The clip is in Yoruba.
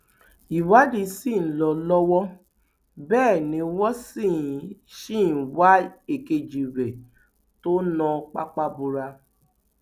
ìwádìí sì ń lọ lọwọ bẹẹ ni wọn sì sì ń wá èkejì rẹ tó na pápá bora